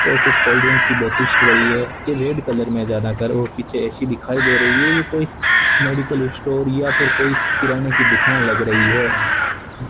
और कुछ cold drink की बॉटल्स भी पड़ी है ये रेड कलर मे ज्यादातर और पीछे ए_सी दिखाई दे रही है ये कोई मेडिकल स्टोर या फिर कोई किराने की दुकान लग रही है।